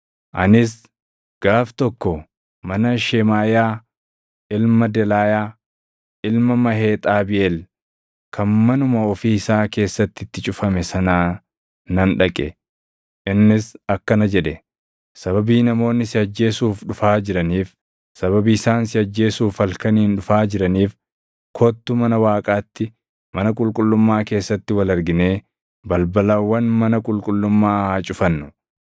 Anis gaaf tokko mana Shemaaʼiyaa ilma Delaayaa, ilma Maheexabiʼeel kan manuma ofii isaa keessatti itti cufame sanaa nan dhaqe. Innis akkana jedhe; “Sababii namoonni si ajjeesuuf dhufaa jiraniif, sababii isaan si ajjeesuuf halkaniin dhufaa jiraniif kottu mana Waaqaatti, mana qulqullummaa keessatti wal arginee balbalawwan mana qulqullummaa haa cufannu.”